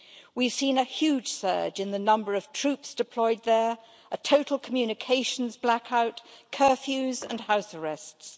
We've seen a huge surge in the number of troops deployed there, a total communications blackout, curfews and house arrests.